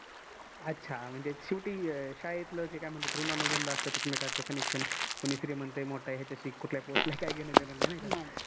अच्छा, म्हणजे शेवटी शाळेतलं ते काय म्हनतेत ऋणानुबंध असतेत एकमेकांच connection कोणी श्रीमंत आहे, मोठा आहे, कुठल्या post ला आहे काय घेण देण नाही. नाही काय